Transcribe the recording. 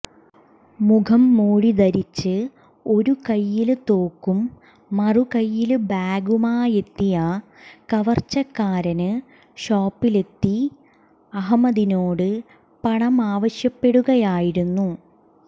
മുഖംമൂടി ധരിച്ച് ഒരു കയ്യില് തോക്കും മറുകയ്യില് ബാഗുമായെത്തിയ കവര്ച്ചക്കാരന് ഷോപ്പിലെത്തി അഹ്മദിനോട് പണമാവശ്യപ്പെടുകയായിരുന്നു